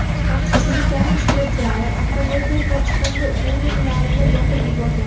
Tartibsizliklar ishtirokchilari avtomobil va chiqindi urnalarini yoqib yuborgan.